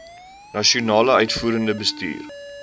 nasionale uitvoerende bestuur